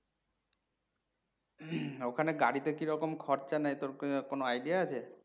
ওখানে গাড়িতে কিরকম খরচা নেয় তোর কোনো idea আছে?